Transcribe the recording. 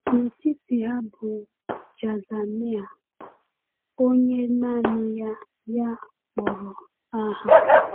N’etiti ha bụ Jaazaniah, onye naanị ya ya kpọrọ aha.